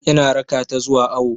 Ina raka ta zuwa awo.